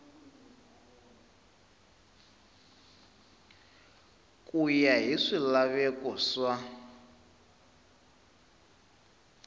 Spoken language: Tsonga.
ku ya hi swilaveko swa